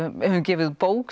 höfum gefið út bók